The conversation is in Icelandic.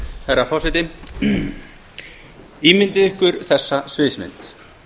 herra forseti ímyndið ykkur þessa sviðsmynd